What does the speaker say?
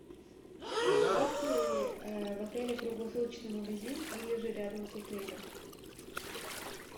есть ли в отеле круглосуточный магазин или же рядом с отелем